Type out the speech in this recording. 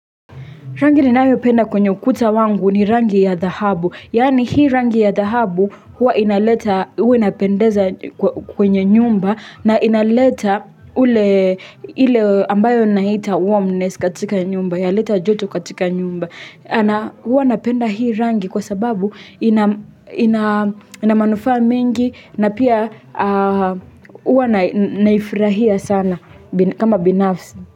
Rangi ni nayopenda kwenye ukuta wangu ni rangi ya dhahabu. Yaani hii rangi ya dhahabu huwa inapendeza kwenye nyumba na inaleta ule ambayo na hita warmness katika nyumba. Yaleta joto katika nyumba. Huwa napenda hii rangi kwa sababu ina manufaa mengi na pia huwa naifurahia sana kama binafsi.